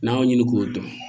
N'an y'o ɲini k'o dɔn